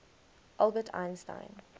albert einstein